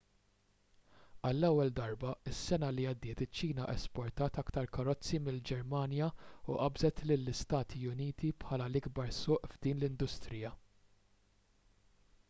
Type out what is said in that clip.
għall-ewwel darba is-sena li għaddiet iċ-ċina esportat aktar karozzi mill-ġermanja u qabżet lill-istati uniti bħala l-ikbar suq f'din l-industrija